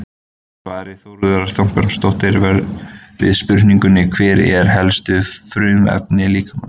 Samkvæmt svari Þuríðar Þorbjarnardóttur við spurningunni Hver eru helstu frumefni líkamans?